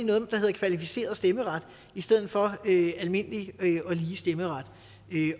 noget der hedder kvalificeret stemmeret i stedet for almindelig og lige stemmeret